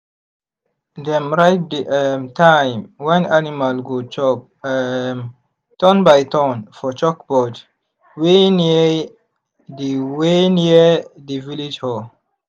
dem write the um time when animal go chop um turn-by-turn for chalkboard wey near the wey near the village hall.